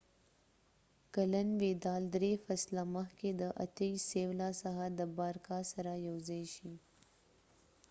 28کلن ويدال درې فصله مخکې د سیولا څخه د بارکا سره یوځای شي